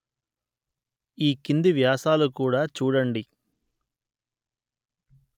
ఈ క్రింది వ్యాసాలు కూడా చూడండి